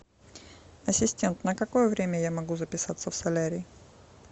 ассистент на какое время я могу записаться в солярий